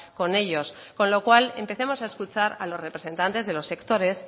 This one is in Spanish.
con ellos con lo cual empecemos a escuchar a los representantes de los sectores